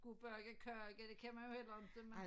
Kunne bage kage det kan man jo heller inte mere